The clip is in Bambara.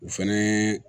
O fɛnɛ ye